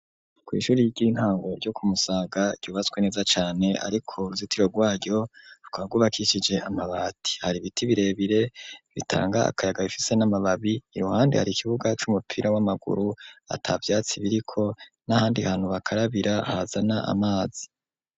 Kw' ishuri ry'intango ryo kumusaga ,ryubatswe neza cane ,ariko uruzitiro rwayo rukagubakishije amabati, hari ibiti birebire bitanga akayaga ,bifise n'amababi iruhande hari ikibuga c'umupira w'amaguru, ata vyatsi biriko n'ahandi hantu bakarabira hazana amazi.